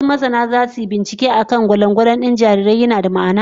Wasu masana zasu yi binciken akan gano ko gwalangwalan din jarirai yana da ma'ana.